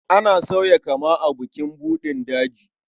Ana sauya kama a bukin buɗin daji.